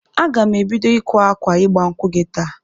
Aga m ebido ịkwa akwa ịgba nkwụ gị taa